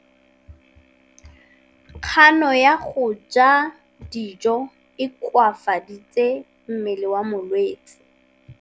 Kganô ya go ja dijo e koafaditse mmele wa molwetse.